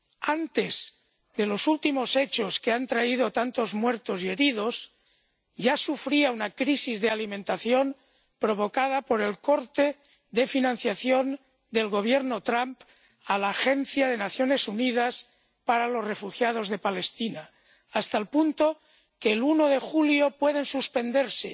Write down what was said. Antes de los últimos hechos, que han traído tantos muertos y heridos, ya sufría una crisis de alimentación provocada por el corte de financiación del Gobierno Trump a la Agencia de las Naciones Unidas para los Refugiados de Palestina, hasta el punto de que el 1 de julio pueden suspenderse